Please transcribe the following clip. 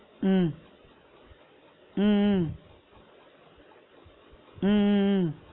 உம் உம் உம் உம் உம் உம்